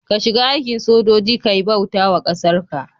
ka shiga aikin sojoji Kai bautawa kasarka